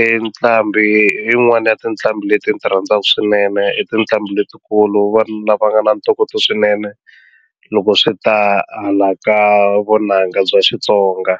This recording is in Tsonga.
i nqambi yin'wani ya tinqambi leti ni ti rhandzaka swinene i tinqambi letikulu vanhu lava nga na ntokoto swinene loko swi ta hala ka vunanga bya Xitsonga.